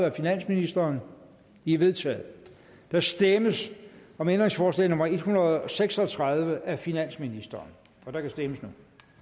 af finansministeren de er vedtaget der stemmes om ændringsforslag nummer en hundrede og seks og tredive af finansministeren og der kan stemmes